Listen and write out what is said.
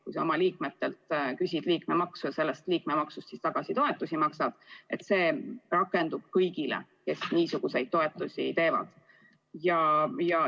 Kui sa oma liikmetelt küsid liikmemaksu ja maksad selle rahaga toetusi, siis see rakendub kõigile, kes niisuguseid toetusi jagavad.